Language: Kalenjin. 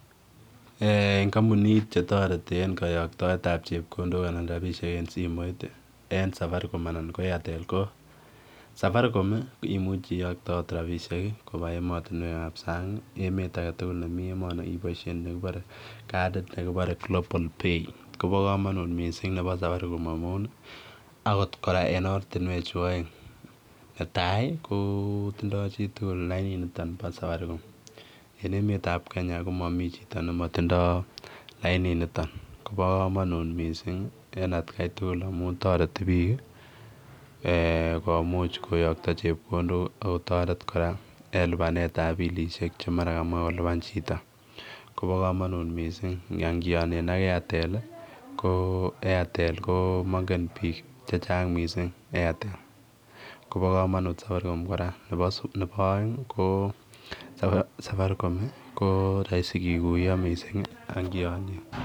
Eng' kampunit chetoreti eng' kayoktoetab chepkondok anan rabishek en simoit en safaricom anan nebo airtel ko safaricom imuchi iyoktot robishek koba emotinwekab sang' ana emet age tugul nemi emeni iboishen nekibore katit nekibore [global pay kobo kamanut mising' nebo safaricom amun akot kora en ortinwek chu oeng' netai kotindoi chitugul lainito bo safaricom en emetab Kenya komami chito nematindoi laininito kobo kamanut mising' en agetugul amun toreti biik komuch koyokto chepkondok akotoret kora en lipanetab bilishek che mara kamoei kolipan chito kobo kamanut mising' angionen ak Airtel ko airtel ko mangen biik chechang' mising' airtel kobo kamanut safaricom kora nebo oeng' ko safaricom ko rahisi kekuyo mising'